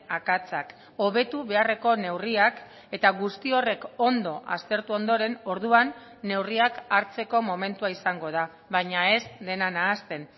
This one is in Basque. akatsak hobetu beharreko neurriak eta guzti horrek ondo aztertu ondoren orduan neurriak hartzeko momentua izango da baina ez dena nahasten